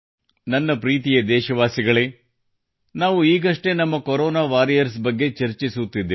ನನ್ನ ಪ್ರೀತಿಯ ದೇಶವಾಸಿಗಳೇ ನಾವು ಈಗಷ್ಟೇ ನಮ್ಮ Corona ವಾರಿಯರ್ಸ್ ಬಗ್ಗೆ ಚರ್ಚಿಸುತ್ತಿದ್ದೆವು